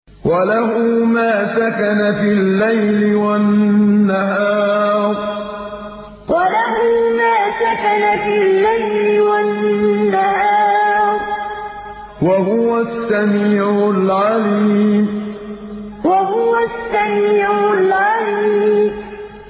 ۞ وَلَهُ مَا سَكَنَ فِي اللَّيْلِ وَالنَّهَارِ ۚ وَهُوَ السَّمِيعُ الْعَلِيمُ ۞ وَلَهُ مَا سَكَنَ فِي اللَّيْلِ وَالنَّهَارِ ۚ وَهُوَ السَّمِيعُ الْعَلِيمُ